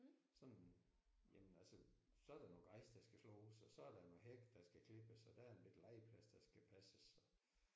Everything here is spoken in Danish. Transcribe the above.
Sådan jamen altså så er der noget græs der skal slås og så er der noget hæk der skal klippes og der er en bette legeplads der skal passes og